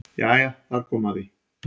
Jæja þar kom að því.